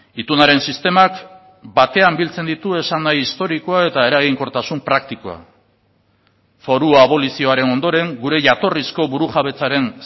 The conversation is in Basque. itunaren sistemak batean biltzen ditu esan nahi historikoa eta eraginkortasun praktikoa foru abolizioaren ondoren gure jatorrizko burujabetzaren